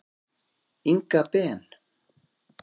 Inga Ben.